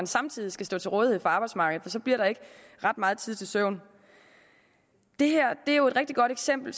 samtidig skal stå til rådighed for arbejdsmarkedet for så bliver der ikke ret meget tid til søvn det er jo et rigtig godt eksempel